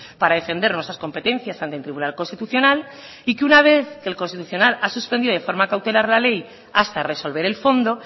para defender nuestras competencias ante el tribunal constitucional y que una vez que el constitucional ha suspendido de forma cautelar la ley hasta resolver el fondo